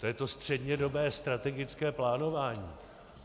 To je to střednědobé strategické plánování.